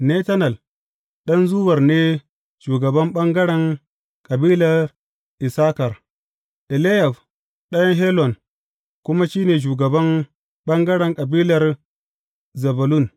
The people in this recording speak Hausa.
Netanel ɗan Zuwar ne shugaban ɓangaren kabilar Issakar, Eliyab ɗan Helon kuma shi ne shugaban ɓangaren kabilar Zebulun.